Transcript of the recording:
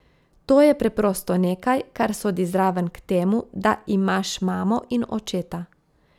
To je preprosto nekaj, kar sodi zraven k temu, da imaš mamo in očeta.